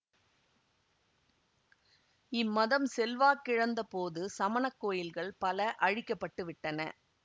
இம் மதம் செல்வாக்கிழந்த போது சமணக் கோயில்கள் பல அழிக்க பட்டு விட்டன